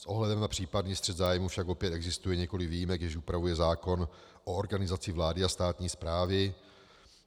S ohledem na případný střet zájmů však opět existuje několik výjimek, jež upravuje zákon o organizaci vlády a státní správy.